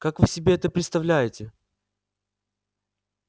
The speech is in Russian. как вы себе это представляете